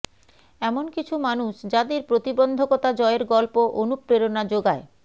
এমন কিছু মানুষ যাঁদের প্রতিবন্ধকতা জয়ের গল্প অনুপ্রেরণা জোগায়